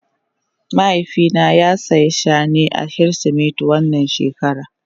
Mahaifi na ya siya Shane a kirisimeti wannan shekara.